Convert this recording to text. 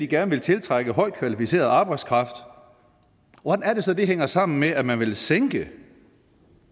gerne vil tiltrække højt kvalificeret arbejdskraft hvordan er det så det hænger sammen med at man vil sænke